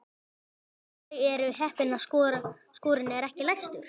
Þau eru heppin að skúrinn er ekki læstur.